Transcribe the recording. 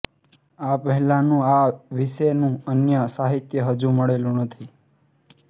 આ પહેલાંનું આ વિશેનું અન્ય સાહિત્ય હજુ મળેલું નથી